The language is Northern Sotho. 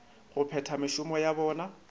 go phetha mešomo ya bona